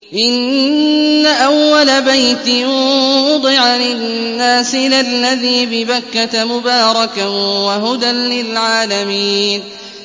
إِنَّ أَوَّلَ بَيْتٍ وُضِعَ لِلنَّاسِ لَلَّذِي بِبَكَّةَ مُبَارَكًا وَهُدًى لِّلْعَالَمِينَ